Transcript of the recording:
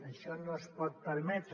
això no es pot permetre